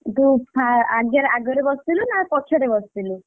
ତୁ ଆଗରେ ବସିଥିଲୁ ନା ପଛରେ ବସିଥିଲୁ?